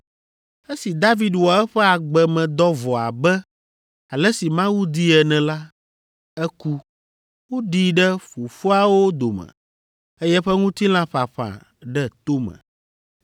“Esi David wɔ eƒe agbemedɔ vɔ abe ale si Mawu dii ene la, eku, woɖii ɖe fofoawo dome, eye eƒe ŋutilã ƒaƒã ɖe tome.